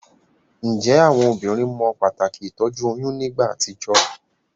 Njé àwon obínrin mo pàtàkì ìtójú oyún nígbà àtijó?